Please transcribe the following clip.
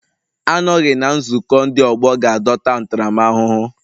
Anọghị na nzukọ ndị ọgbọ ga-adọta ntaramahụhụ